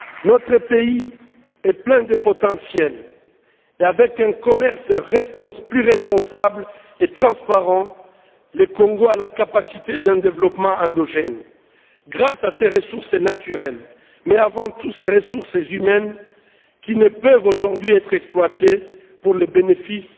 Notre pays est plein de potentiel et, avec un commerce plus responsable et transparent, le Congo a la capacité d'un développement endogène grâce à ses ressources naturelles mais, avant tout, grâce à ses ressources humaines, qui ne peuvent aujourd'hui être exploitées pour le bénéfice